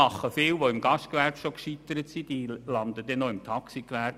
Viele, die im Gastgewerbe bereits gescheitert sind, landen dann noch im Taxigewerbe.